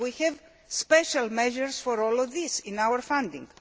We have special measures for all of this in our funding.